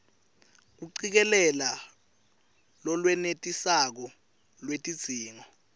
kucikelela lolwenetisako lwetidzingo